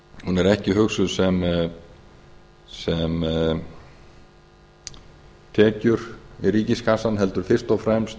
er ekki hugsuð sem tekjur í ríkiskassann heldur er hún fyrst og fremst